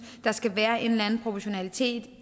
der skal være en eller anden proportionalitet